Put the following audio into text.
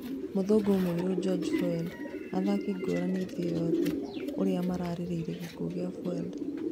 Mũthũngũ mũirũ George Floyd: athaki ngũrani thĩ yothe ũrĩa marĩrĩirie gĩkuo kĩa flyod